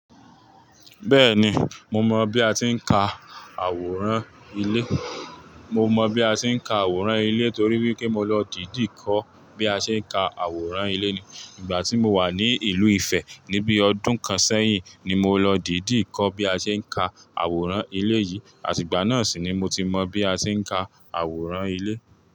Bẹ́ẹ̀ni, mo mọ̀ bí a ti ń ka àwòrán ilé. Mo mọ bí a ti ń ka àwòrán ilé torí wípé mo lọ dìdí kọ́ bí a tí ń ka àwòrán ilé ní ìgbà tí mo wà ní ìlú Ifẹ̀. Ni bí ọdún kan sẹ́yìn ni mo lọ dìdí kọ́ bí a tí ń ka àwòrán ilé yìí, àti ìgbà náà sì ni mo ti mọ bí a ti ń ka àwòrán ilé.